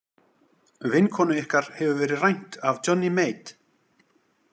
Vinkonu ykkar hefur verið rænt af Johnny Mate.